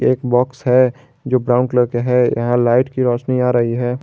एक बॉक्स है जो ब्राउन कलर के है यहां लाइट की रोशनी आ रही है।